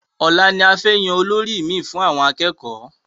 Ọ̀la ni a fẹ́ yan olórí mi fún àwọn akẹ́kọ̀ọ́